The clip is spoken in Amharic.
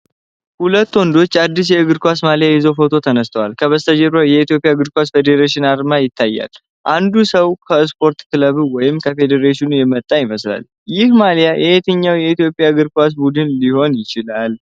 ሁለት ወንዶች አዲስ የእግር ኳስ ማሊያ ይዘው ፎቶ ተነስተዋል። ከበስተጀርባ "የኢትዮጵያ እግር ኳስ ፌዴሬሽን" አርማ ይታያል። አንዱ ሰው ከስፖርት ክለብ ወይም ከፌዴሬሽኑ የመጣ ይመስላል። ይህ ማሊያ የየትኛውን የኢትዮጵያ እግር ኳስ ቡድን ሊሆን ይችላል?